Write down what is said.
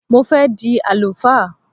Mo fẹ́ di àlùfáà